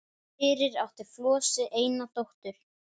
Fyrir átti Flosi eina dóttur